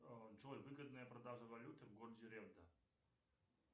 джой выгодная продажа валюты в городе ревда